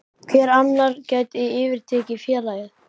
Hver annar gæti yfirtekið félagið?